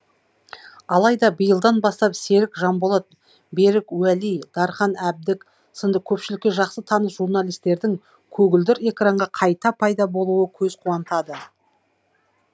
алайда биылдан бастап серік жанболат берік уәли дархан әбдік сынды көпшілікке жақсы таныс журналистердің көгілдір экранға қайта пайда болуы көз қуантады